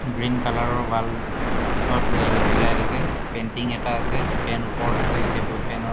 গ্ৰিণ কালাৰৰ ৱাল অত L E D light আছে পেন্টিং এটা আছে ফেন ওপৰত আছে টেবুল ফেনৰ--